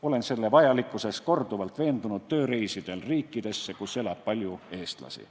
Olen selle vajalikkuses korduvalt veendunud tööreisidel riikidesse, kus elab palju eestlasi.